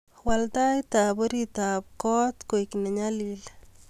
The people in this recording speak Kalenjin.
Wal taitab oritab kot koek nenyalil